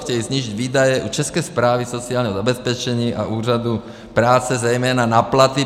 Chtějí snížit výdaje u České správy sociálního zabezpečení a Úřadu práce zejména na platy.